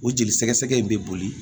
O jeli sɛgɛsɛgɛ in bɛ boli